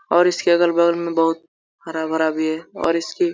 और इसके अगल-बगल में बहुत हरा-भरा भी है और इसकी --